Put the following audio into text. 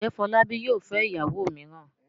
Ǹjẹ́ Fọlábí yóò fẹ́ ìyàwó mìíràn?